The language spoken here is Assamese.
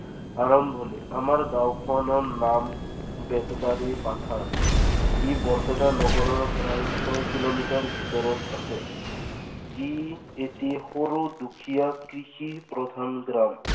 আৰম্ভণি আমাৰ গাঁওখনৰ নাম বেতবাৰী পাথাৰ। ই বৰপেটা নগৰৰ প্ৰায় ছয় কিলোমিটাৰ ভিতৰত আছে। ই এটি সৰু দুখীয়া কৃষিৰ প্ৰধান